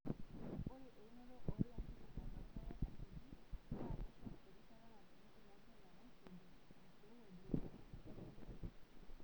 Ore eunoto oolanterera loorpaek asioki, naa keishoru erishata natumie ilanterera nitrogen, enkirowuaj weokoto sidai enkare.